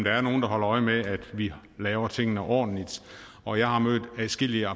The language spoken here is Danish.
er nogen der holder øje med at vi laver tingene ordentligt og jeg har mødt adskillige